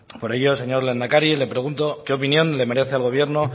por ello señor lehendakari le pregunto qué opinión le merece al gobierno